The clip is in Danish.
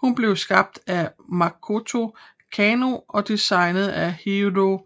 Hun blev skabt af Makoto Kano og designet af Hiroji